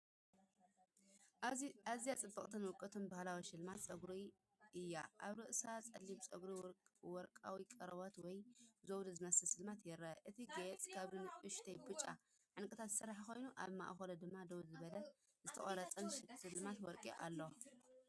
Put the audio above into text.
ኣዝዩ ጽቡቕን ውቁብን ባህላዊ ሽልማት ጸጉሪ እዩ! ኣብ ርእሲ ጸሊም ጸጉሪ ወርቃዊ ቆርበት ወይ ዘውዲ ዝመስል ስልማት ይርአ። እቲ ጌጽ ካብ ንኣሽቱ ብጫ ዕንቊታት ዝስራሕ ኮይኑ፡ ኣብ ማእከሉ ድማ ደው ዝበለን ዝተቐርጸን ስልማት ወርቂ ኣሎ።